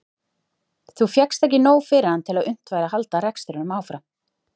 Þá fékkst ekki nóg fyrir hann til að unnt væri að halda rekstrinum áfram.